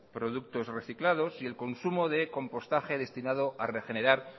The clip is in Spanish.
productos reciclados y el consumo de compostaje destinado a regenerar